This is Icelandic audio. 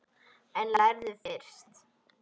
En lærðu fyrst.